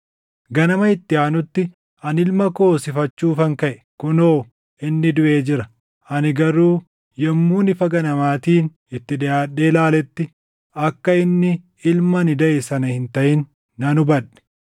Ganama itti aanutti ani ilma koo hoosifachuufan kaʼe; kunoo inni duʼee jira! Ani garuu yommuun ifa ganamaatiin itti dhiʼaadhee ilaaletti akka inni ilma ani daʼe sana hin taʼin nan hubadhe.”